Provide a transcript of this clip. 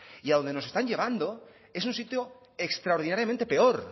y a donde nos están llevando es a un sitio extraordinariamente peor